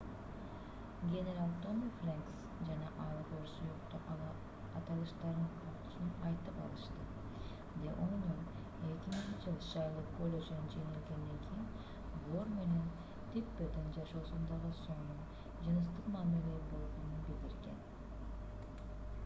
генерал томми фрэнкс жана аль гор сүйүктүү аталыштарын кокусунан айтып алышты the onion 2000-ж. шайлоо коллежине жеңилгенден кийин гор менен типпердин жашоосундагы сонун жыныстык мамиле болгонун билдирген